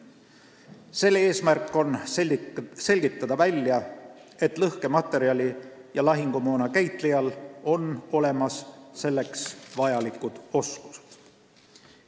Selle eesmärk on välja selgitada, kas lõhkematerjali ja lahingumoona käitlejal on olemas selleks vajalikud oskused.